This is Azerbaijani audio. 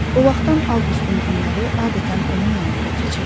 O vaxtdan Avqustun günləri adətən onun yanında keçirdi.